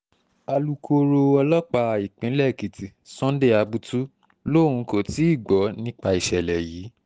alūkkóró ọlọ́pàá ìpínlẹ̀ èkìtì sunday abutu lòun kò tí ì gbọ́ nípa ìṣẹ̀lẹ̀ yìí